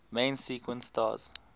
main sequence stars